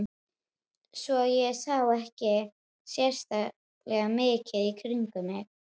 Svo ég sá ekki sérlega mikið í kringum mig.